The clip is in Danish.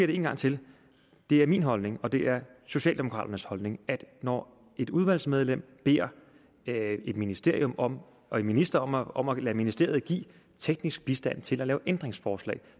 det en gang til det er min holdning og det er socialdemokraternes holdning at når et udvalgsmedlem beder et ministerium og en minister om at om at lade ministeriet give teknisk bistand til at lave ændringsforslag